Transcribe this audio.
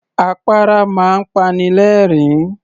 Àpárá máa ń pani lẹ̀ẹ́rín